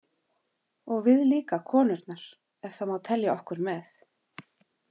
Og við líka konurnar ef það má telja okkur með.